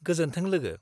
गोजोन्थों लोगो।